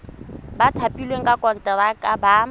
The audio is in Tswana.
ba thapilweng ka konteraka ba